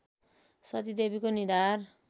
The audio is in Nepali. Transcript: सतीदेवीको निधार